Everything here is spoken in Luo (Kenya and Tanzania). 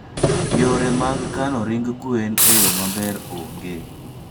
Yore mag kano ring gwen e yo maber onge.